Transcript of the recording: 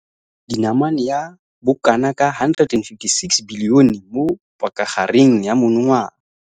dinamane ya bokanaka R156 bilione mo pakagareng ya monongwaga.